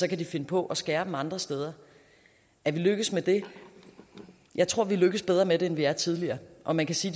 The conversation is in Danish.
kan finde på at skære dem andre steder er vi lykkedes med det jeg tror vi er lykkedes bedre med det end vi er tidligere og man kan sige